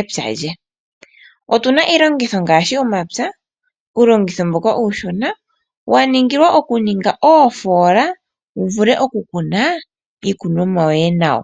epya lye. Otu na iilongitho ngaashi omapya, uulongitho mboka uushona waningilwa okuninga oofola wu vule okukuna iikunomwa yoye nawa.